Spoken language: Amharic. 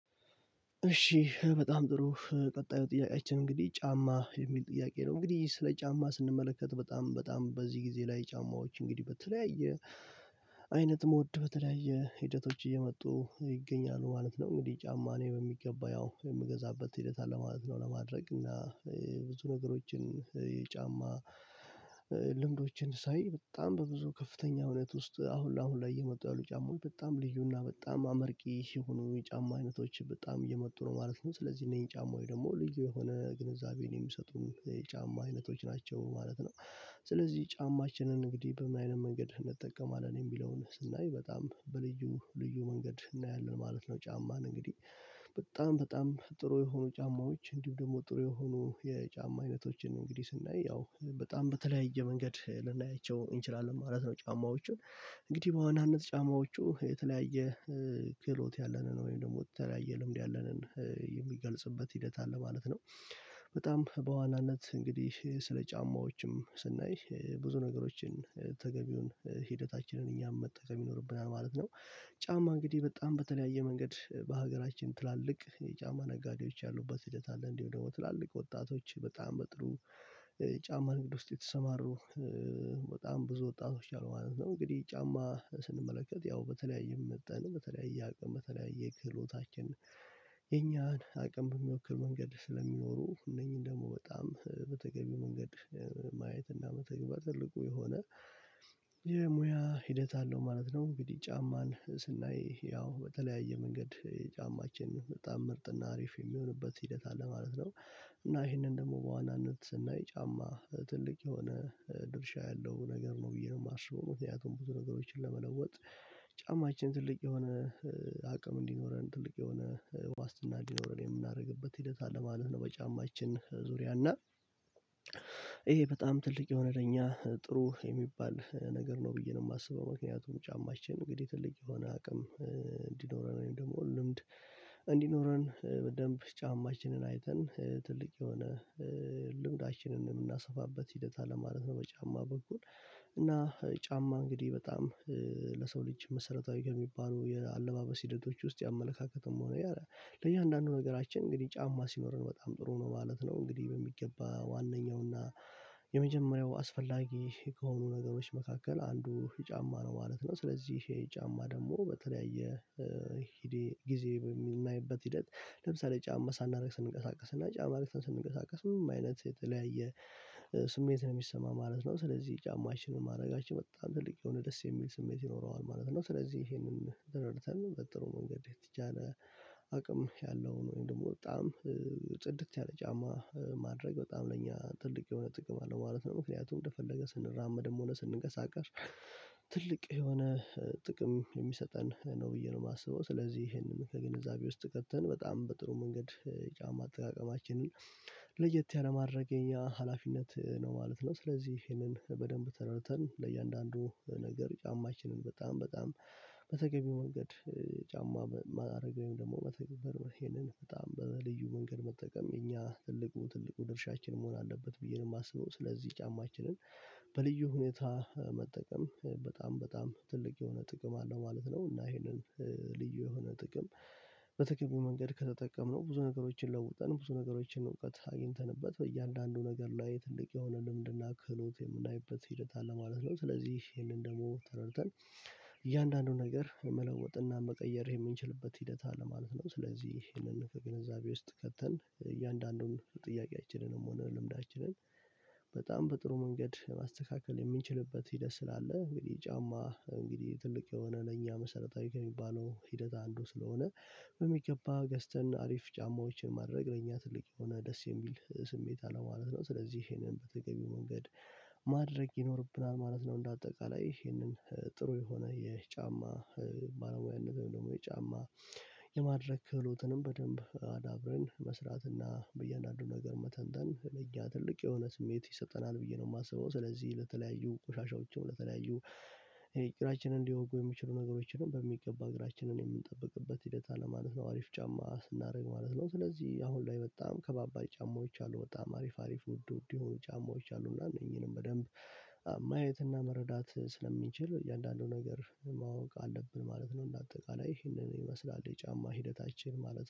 እሺ በጣም ጥሩ ቀጣዩ ጥያቄያችን እንግዲህ ጫማ የሚል ጥያቄ ነው እንግዲህ ስለ ጫማ ስንመለከት በጣም በጣም በዚህ ጊዜ ላይ ጫማዎች እንግዲህ በተለያየ አይነት ሞድ በተለያየ ሂደቶች እየመጡ ይገኛሉ ማለት ነው። እንግዲህ ጫማ እኔ በሚገባ ያው የምንገዛበት ሂደት አለ ማለት ነው ለማድረግ እና ብዙ ነገሮችን የጫማ ልምዶችን ሳይ በጣም በብዙ ከፍተኛ እውነት ውስጥ አሁን አሁን ላይ እየመጡ ያሉ ጫማዎች በጣም ልዩና በጣም አመርቂ የሆኑ ጫማ አይነቶችን በጣም እየመጡ ነው ማለት ነው። ስለዚህ እነዚህ ጫማ ወይ ደግሞ ልዩ የሆነ ግንዛቤን የሚሰጡን የጫማ አይነቶች ናቸው ማለት ነው። ስለዚህ ጫማችንን እንግዲህ በምን አይነት መንገድ እንጠቀማለን የሚለውን ስናይ በጣም በልዩ ልዩ መንገድ እናያለን ማለት ነው። ጫማን እንግዲህ በጣም በጣም ጥሩ የሆኑ ጫማዎች እንዲሁ ደግሞ ጥሩ የሆኑ የጫማ አይነቶችን እንግዲህ ስናይ ያው በጣም በተለያየ መንገድ ልናያቸው እንችላለን ማለት ነው። ጫማዎቹን እንግዲህ በአዋናነት ጫማዎቹ የተለያየ ክህሎት ያለንን ወይም ደግሞ የተለያየ ልምድ ያለንን የሚገልጽበት ሂደት አለ ማለት ነው። በጣም በዋናነት እንግዲህ ስለ ጫማዎችም ስናይ ብዙ ነገሮችን ተገቢውን ሂደታችንን እኛም መጠቀም ይኖርብናል ማለት ነው። ጫማ እንግዲህ በጣም በተለያየ መንገድ በሀገራችን ትላልቅ የጫማ ነጋዴዎች ያሉበት ሂደት አለ እንዲሁ ደግሞ ትላልቅ ወጣቶች በጣም በጥሩ ጫማ ንግድ ውስጥ የተሰማሩ በጣም ብዙ ወጣቶች አሉ ማለት ነው። እንግዲህ ጫማ ስንመለከት ያው በተለያየ መጠን በተለያየ አቅም በተለያየ ክህሎታችን የኛን አቅም በሚወክሉ መንገድ ስለሚኖሩ እነኚህን ደግሞ በጣም በተገቢ መንገድ ማየትና መተግበር ትልቁ የሆነ የሙያ ሂደት አለው ማለት ነው። እንግዲህ ጫማን ስናይ ያው በተለያየ መንገድ የጫማችን በጣም ምርጥና አሪፍ የሚሆንበት ሂደት አለ ማለት ነው። እና ይሄንን ደግሞ በዋናነት እና ጫማ ትልቅ የሆነ ድርሻ ያለው ነገር ነው ብዬ ነው የማስበው ምክንያቱም ብዙ ነገሮችን ለመለወጥ ጫማችን ትልቅ የሆነ አቅም እንዲኖረን ትልቅ የሆነ ዋስትና እንዲኖረን የምናደርግበት ሂደት አለ ማለት ነው። በጫማችን ዙሪያ እና ይሄ በጣም ትልቅ የሆነ ለኛ ጥሩ የሚባል ነገር ነው ብዬ ነው የማስበው ምክንያቱም ጫማችን እንግዲህ ትልቅ የሆነ አቅም ወይም ደግሞ ልምድ እንዲኖረን በደንብ ጫማችንን አይተን ትልቅ የሆነ ልምዳችንን የምናሰፋበት ሂደት አለ ማለት ነው። በጫማ በኩል እና ጫማ እንግዲህ በጣም ለሰው ልጅ መሰረታዊ ከሚባሉ የአለባበስ ሂደቶች ውስጥ ያመለካከትም ሆነ ለእያንዳንዱ ነገራችን እንግዲህ ጫማ ሲኖረን በጣም ጥሩ ነው ማለት ነው እንግዲህ በሚገባ ዋናው እና የመጀመሪያው አስፈላጊ ከሆኑ ነገሮች መካከል አንዱ ጫማ ነው ማለት ነው። ስለዚህ የጫማ ደግሞ በተለያየ ጊዜ በሚናይበት ሂደት ለምሳሌ ጫማ ሳናደርግ ስንቀሳቀስ እና ጫማ ለብሰን ስንቀሳቀስ ምንም አይነት የተለያየ ስሜት ነው የሚሰማ ማለት ነው። ስለዚህ ጫማችንን ማድረጋችን በጣም ትልቅ የሆነ ደስ የሚል ስሜት ይኖረዋል ማለት ነው። ስለዚህ ይሄንን ተረድተን በጥሩ መንገድ የተቻለ አቅም ያለውን ወይም ደግሞ በጣም ጽድት ያለ ጫማ ማድረግ በጣም ነኝ ትልቅ የሆነ ጥቅም አለ ማለት ነው። ምክንያቱም እንደፈለገ ስንራመድም ሆነ ስንቀሳቀስ ትልቅ የሆነ ጥቅም የሚሰጠን ነው ብዬ ነው የማስበው ስለዚህ ይሄንን ከግንዛቤ ውስጥ ከተን በጣም በጥሩ መንገድ ጫማ አጠቃቀማችንን ለየት ያለ ማድረግ የኛ ሀላፊነት ነው ማለት ነው። ስለዚህ ይሄንን በደንብ ተረድተን ለእያንዳንዱ ነገር ጫማችንን በጣም በጣም በተገቢው መንገድ ጫማ ማድረግ ወይም ደግሞ መተግበር መሄድን በጣም በልዩ መንገድ መጠቀም የኛ ትልቁ ትልቁ ድርሻችን መሆን አለበት ብዬ ነው የማስበው ስለዚህ ጫማችንን በልዩ ሁኔታ መጠቀም በጣም በጣም ትልቅ የሆነ ጥቅም አለው ማለት ነው። እና ይሄንን ልዩ የሆነ ጥቅም በተገቢው መንገድ ከተጠቀምነው ብዙ ነገሮችን ለውጠን ብዙ ነገሮችን እውቀት አግኝተንበት በእያንዳንዱ ነገር ላይ ትልቅ የሆነ ልምድና ክህሎት የምናይበት ሂደት አለ ማለት ነው። ስለዚህ ይሄንን ደግሞ ተረድተን እያንዳንዱን ነገር መለወጥና መቀየር የምንችልበት ሂደት አለ ማለት ነው። ስለዚህ ይህንን ከግንዛቤ ውስጥ ከተን እያንዳንዱን ጥያቄያችንም ሆነ ልምዳችንን በጣም በጥሩ መንገድ ማስተካከል የምንችልበት ሂደት ስላለ እንግዲህ ጫማ እንግዲህ ትልቅ የሆነ ለእኛ መሰረታዊ ከሚባለው ሂደት አንዱ ስለሆነ በሚገባ ገዝተን አሪፍ ጫማዎችን ማድረግ ለእኛ ትልቅ የሆነ ደስ የሚል ስሜት አለው ማለት ነው። ስለዚህ ይሄንን በተገቢው መንገድ ማድረግ ይኖርብናል ማለት ነው። እንደ አጠቃላይ ይሄንን ጥሩ የሆነ የጫማ ባለሙያነት ደግሞ የጫማ የማድረግ ክህሎትንም በደንብ መስራት እና በእያንዳንዱ ነገር መተንተን ለኛ ትልቅ የሆነ ስሜት ይሰጠናል ብዬ ነው የማስበው። ስለዚህ ለተለያዩ ቆሻሻዎችን ለተለያዩ እግራችንን እንዲወጉ የሚችሉ ነገሮችንም በሚገባ እግራችንን የምንጠብቅበት ሂደት አለ ማለት ነው። አሪፍ ጫማ ስናደርግ ማለት ነው ስለዚህ አሁን ላይ በጣም ከባባድ ጫማዎች አሉ በጣም አሪፍ አሪፍ ውድ ውድ የሆኑ ጫማዎች አሉ እና እነኚህንም በደንብ ማየት እና መረዳት ስለሚችል እያንዳንዱ ነገር ማወቅ አለብን ማለት ነው። እንደ አጠቃላይ ይሄንን ይመስላል የጫማ ሂደታችን ማለት